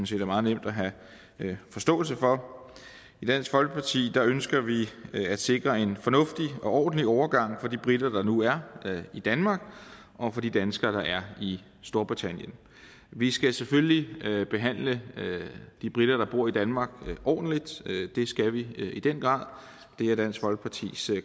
set er meget nemt at have forståelse for i dansk folkeparti ønsker vi at sikre en fornuftig og ordentlig overgang for de briter der nu er i danmark og for de danskere der er i storbritannien vi skal selvfølgelig behandle de briter der bor i danmark ordentligt det skal vi i den grad det er dansk folkepartis